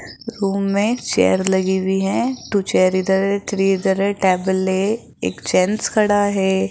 Room में chair लगी हुई हैं टू चेयर इधर है थ्री इधर है टैबल है एक जेंट्स खड़ा है।